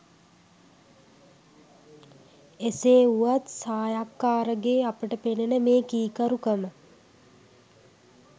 එසේ වුවත් සායක්කාරගේ අපට පෙනෙනෙ මේ කීකරුකම